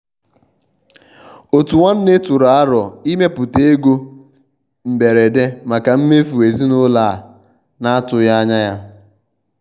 òtù nwanne tụrụ àrò ịmèpụta égò mbèrédè maka mmèfù ezinúlọ̀ a na-atùghị anya ya.